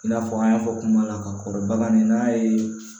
I n'a fɔ an y'a fɔ kuma la ka kɔrɔ bagani n'a ye